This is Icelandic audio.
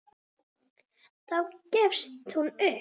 Þá gefst hún upp.